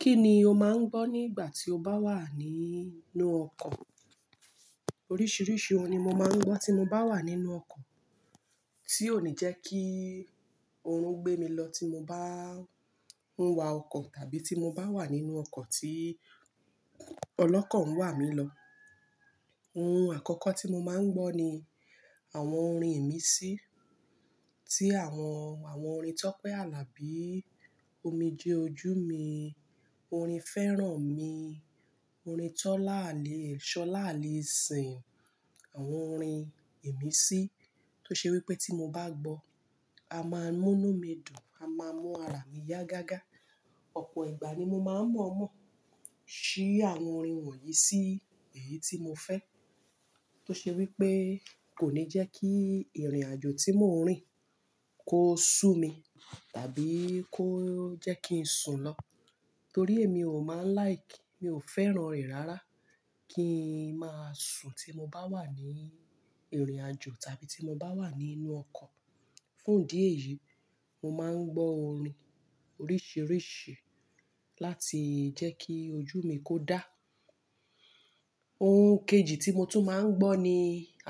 Kí ni o máa ń gbọ́ nígbà tí o bá wà nínú ọkọ̀? Oríṣiríṣi orin ni mo máa ń gbọ́ tí mo bá wà nínú ọkọ̀, tí ó ní jẹ́ kí oorun gbé mi lọ tí mo bá ń wa ọkọ̀ tàbí tí mo bá wà nínú ọkọ̀ tí ọlọ́kọ̀ ń wà mí lọ. Orin àkọ́kọ́ tí mo máa ń gbọ́ ni àwọn orin ìmísí tí àwọn orin Tọ́pẹ́ Alabi, Omijé Ojú Mi, orin Fẹ́rànmi, orin Tọ́lá Ale, Ṣọlá Aleṣin, àwọn orin ìmísí tó ṣe wí pé tí mo bá gbọ́, a máa múnú mi dùn, a máa mú ara mi yá gágá. Ọ̀pọ̀ ìgbà ni mo máa ń mọ̀ọ́mọ̀ ṣí àwọn orin wọ̀nyí sí èyí tí mo fẹ́. Tó ṣe wí pé kò ní jẹ́ kí ìrìnàjò tí mò ń rìn kó sú mi tàbí kó jẹ́ kí n sùn lọ. Torí èmi ò máa ń like, mi ò fẹ́ràn rẹ̀ rárá kí n máa sùn tí mo bá wà ní ìrìnàjò tàbí tí mo bá wà nínú ọkọ̀. Fún ìdí èyí, mo máa ń gbọ́ orin oríṣiríṣi láti jẹ́ kí ojú mi kó dá. Ohun kejì tí mo tún máa ń gbọ́ ni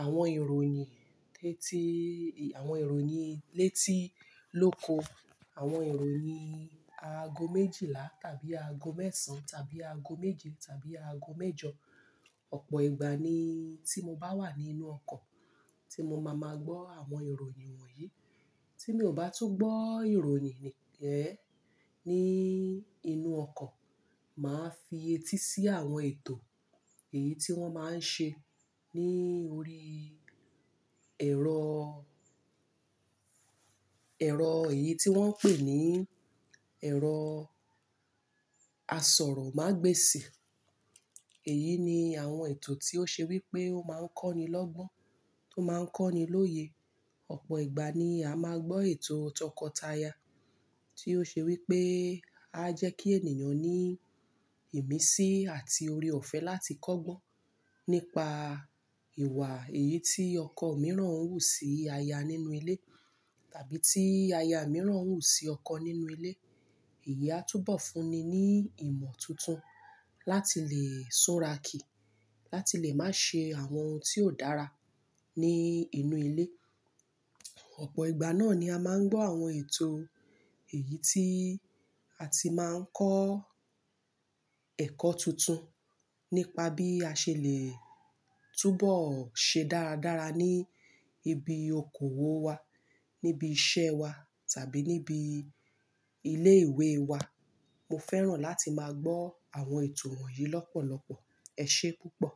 àwọn ìròyìn, àwọn ìròyìn létí lóko, àwọn ìròyìn aago méjìlá tàbí aago mẹ́ẹ̀sán tàbí aago méje tàbí aago mẹ́jọ. Ọ̀pọ̀ ìgbà ni tí mo bá wà nínú ọkọ̀, tí mo máa máa gbọ́ àwọn ìròyìn wọ̀nyí. Tí mi ò bá tún gbọ́ ìròyìn ní inú ọkọ̀, màá fi etí sí àwọn ètò èyí tí wọ́n máa ń ṣe ní orí ẹ̀rọ, ẹ̀rọ èyí tí wọ́n ń pè ní ẹ̀rọ asọ̀rọ̀ má gbé sì. Èyí ni àwọn ètò tí ó ṣe wí pé ó máa ń kọ́ni lọ́gbọ́n, tó máa ń kọ́ni lóye. Ọ̀pọ̀ ìgbà ni a máa gbọ́ ètò tọkọtaya tí ó ṣe wí pé a jẹ́ kí ènìyàn ní ìmísí àti oore-ọ̀fẹ́ láti kọ́gbọ́n nípa ìwà èyí tí ọkọ mìíràn ń wù sí aya nínú ilé tàbí tí aya mìíràn ń wù sí ọkọ nínú ilé. Èyí á túbọ̀ fúnni ní ìmọ̀ tuntun láti lè súra kìí, láti lè má ṣe àwọn ohun tí ò dára ní inú ilé. Ọ̀pọ̀ ìgbà náà ni a máa ń gbọ́ àwọn ètò èyí tí a ti máa ń kọ́ ẹ̀kọ́ tuntun nípa bí a ṣe lè túbọ̀ ṣe dáradára ní ibi okòwò wa, níbi iṣẹ́ wa tàbí níbi ilé ìwé wa. Mo fẹ́ràn láti máa gbọ́ àwọn ètò wọ̀nyí lọ́pọ̀lọ́pọ̀. Ẹ ṣé púpọ̀.